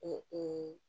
Ee ee